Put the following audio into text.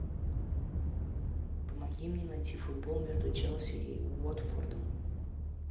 помоги мне найти футбол между челси и уотфордом